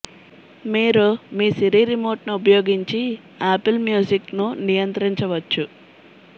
మీరు మీ Siri remote ను ఉపయోగించి ఆపిల్ మ్యూజిక్ ను నియంత్రించవచ్చు